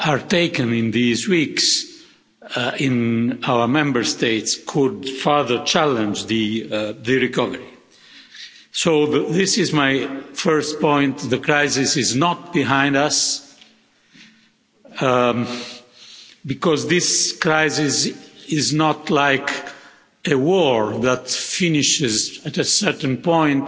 taken in these weeks in our Member States could further challenge the recovery. So this is my first point. The crisis is not behind us because this crisis is not like a war that finishes at a certain point